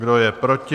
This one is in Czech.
Kdo je proti?